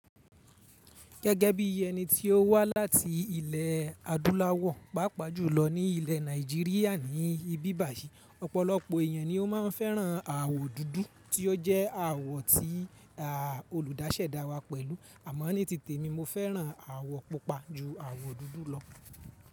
Gẹ́gẹ́ bí ẹni tí ó wá láti ilẹ̀ adúláwọ̀, pàápàá jùlọ ní ilẹ̀ Nàìjíríà ni ìbí bàyìí, ọ̀pọ̀lọpọ̀ èèyàn ni ó máa ń fẹ́ràn àwọ̀ dúdú tí ó jẹ́ àwọ̀ tí a olùdásẹ̀ dá wa pẹ̀lú. Àmọ́ ní titẹ̀ mi, mo fẹ́ràn àwọ̀ pupa ju àwọ̀ dúdú lọ.